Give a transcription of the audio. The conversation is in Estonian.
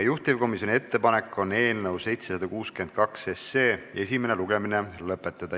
Juhtivkomisjoni ettepanek on eelnõu 762 esimene lugemine lõpetada.